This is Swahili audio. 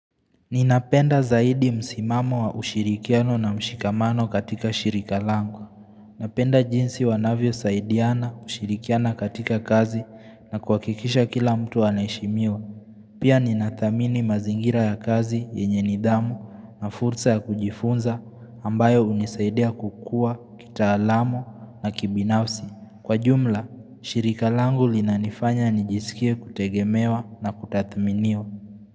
Ninapenda zaidi msimamo wa ushirikiano na mshikamano katika shirika lango. Napenda jinsi wanavyo saidiana ushirikiana katika kazi na kwa kikisha kila mtu anashimiwa. Pia ninatamini mazingira ya kazi yenye nidhamu na fursa ya kujifunza ambayo unisaidia kukua kitalamu na kibinafsi. Kwa jumla, shirika lango linanifanya nijisikia kutegemewa na kutathminiwa.